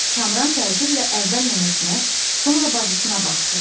Kamran təəccüblə əvvəl nənəsinə, sonra bacısına baxdı.